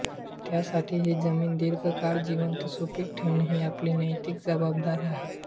त्यासाठी ही जमीन दीर्घकाळ जिवंत सुपीक ठेवणे ही आपली नैतिक जबाबदारी आहे